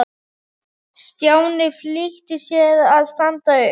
Stjáni flýtti sér að standa upp.